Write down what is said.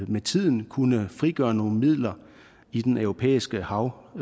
med tiden kunne frigøre nogle midler i den europæiske hav